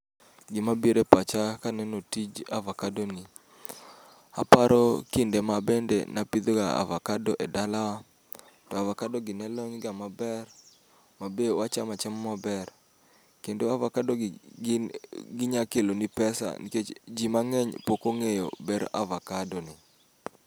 Gima bire pacha kaneno tij avakado ni, aparo kinde ma abende napidhoga avakado e dalawa. To avakado gi ne lony ga maber, ma be wacham chama maber. Kendo avakado gi gin ginyakeloni pesa nikech ji mang'eny pokong'eyo ber avakado ni.